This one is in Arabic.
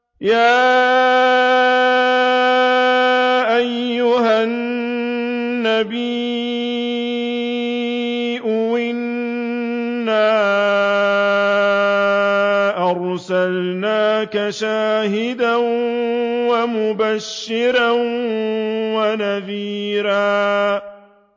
يَا أَيُّهَا النَّبِيُّ إِنَّا أَرْسَلْنَاكَ شَاهِدًا وَمُبَشِّرًا وَنَذِيرًا